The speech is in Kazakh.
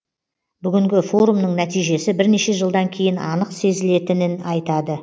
бүгінгі форумның нәтижесі бірнеше жылдан кейін анық сезілетінін айтады